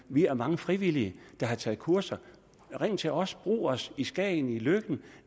vi er mange frivillige der har taget kurser ring til os brug os i skagen i løkken og